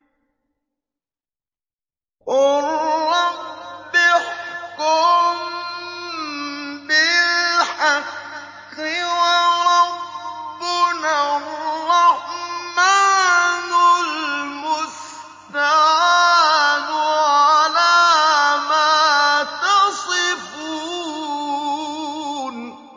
قَالَ رَبِّ احْكُم بِالْحَقِّ ۗ وَرَبُّنَا الرَّحْمَٰنُ الْمُسْتَعَانُ عَلَىٰ مَا تَصِفُونَ